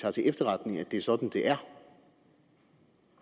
tager til efterretning at det er sådan det er